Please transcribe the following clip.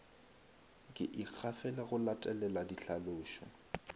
ke ikgafela go latelela dihlalošo